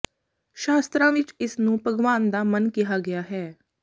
ਸ਼ਾਸਤਰਾਂ ਵਿੱਚ ਇਸਨੂੰ ਭਗਵਾਨ ਦਾ ਮਨ ਕਿਹਾ ਗਿਆ ਹੈ